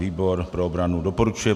Výbor pro obranu doporučuje